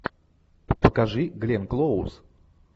покажи гленн клоуз